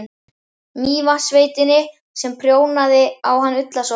Mývatnssveitinni sem prjónaði á hann ullarsokkana.